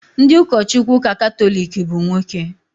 Ndị ụkọchukwu ụka Katọlik bụ nwoke